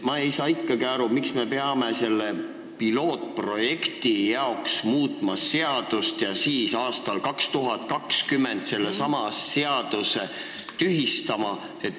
Ma ei saa ikkagi aru, miks me peame selle pilootprojekti pärast seadust muutma ja aastal 2020 sellesama seaduse tühistama.